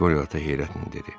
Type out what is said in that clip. Qori ata heyrətlə dedi.